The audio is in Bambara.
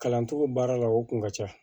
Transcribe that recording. Kalancogo baara la o kun ka ca